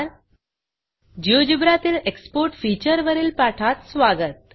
GeoGebra तील export featureएक्सपोर्ट feature वरील पाठात स्वागत